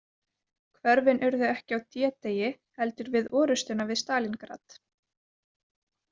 Hvörfin urðu ekki á D- degi heldur við orustuna við Stalíngrad.